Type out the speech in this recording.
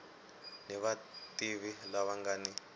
ni vativi lava nga ni